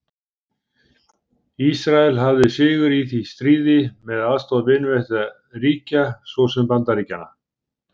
Ísrael hafði sigur í því stríði með aðstoð vinveittra ríkja svo sem Bandaríkjanna.